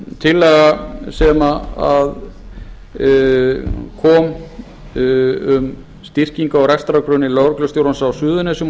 tillaga kom um styrkingu á rekstrargrunni lögreglustjórans á suðurnesjum og